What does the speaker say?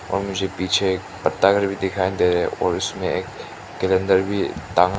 और मुझे पीछे एक पत्ता घर भी दिखाई दे रहा है और उसमें एक कैलेंडर भी टांगा--